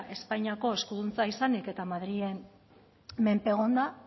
espainiako eskuduntza izanik eta madrilen menpe egonda